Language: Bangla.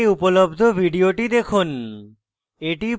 এই লিঙ্কে উপলব্ধ video দেখুন